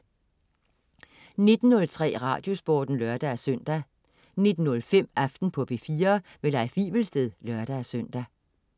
19.03 Radiosporten (lør-søn) 19.05 Aften på P4. Leif Wivelsted (lør-søn)